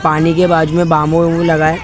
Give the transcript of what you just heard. पानी के बाजू में बांबू बींबू लगा है --